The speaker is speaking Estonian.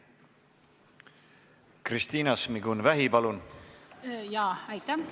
Kristina Šmigun-Vähi, palun!